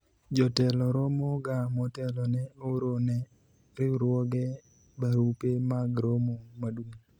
jotelo romo ga motelo ne oro ne riwruoge barupe mag romo maduong'